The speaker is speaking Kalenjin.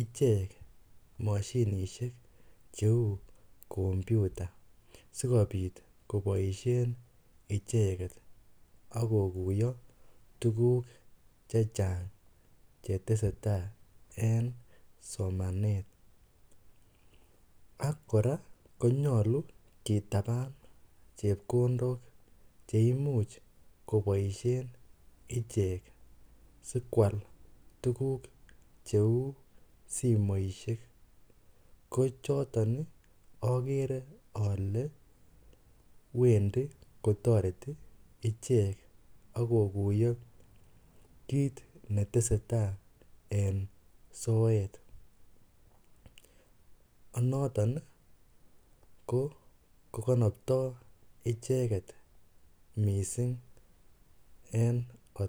ichek moshinishek cheu komputa sikobit koboishen icheket akokuyo tukuk che chang che tese tai eng somanet ak kora konyolu ketanan chepkondok cheimuch koboishen ichek sikwal tukuk cheu simoishek ko choton akere ale wendi kotoreti ichek akokuyo kiit netesetai eng soet noton ko konoptoi icheket missing eng.